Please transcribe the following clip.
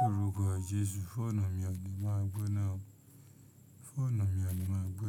Lórúkọ Jesu fóònù mi ò ní máa gbóná o. Fóònù mi ò ní máa gbóná.